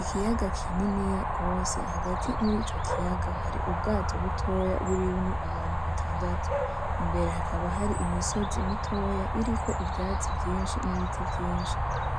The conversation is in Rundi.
Ikiyaga kininiya gose hagati yo muri ico kiyaga hari ubwato butoya burimwo abantu batandatu imbere hakaba hari imisozi mitoya iriko ivyatsi vyinshi n,ibiti vyinshi